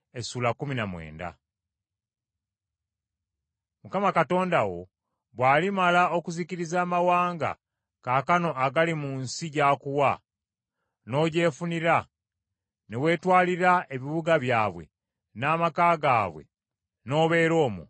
Mukama Katonda wo bw’alimala okuzikiriza amawanga kaakano agali mu nsi gy’akuwa, n’ogyefunira, ne weetwalira ebibuga byabwe, n’amaka gaabwe n’obeera omwo,